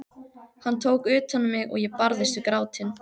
Hann tók utan um mig og ég barðist við grátinn.